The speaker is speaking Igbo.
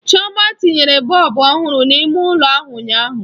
Chioma tinyere bọlbụ ọhụrụ n'ime ụlọ ahụ ụnyaahụ.